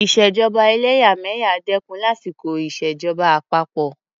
ìṣèjọba ẹlẹ́yàmẹ̀yà dẹ́kun lásìkò ìṣèjọba àpapọ.